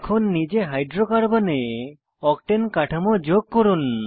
এখন নিজে হাইড্রোকার্বনে অক্টেন কাঠামো যোগ করুন